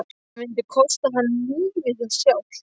Það myndi kosta hann lífið sjálft!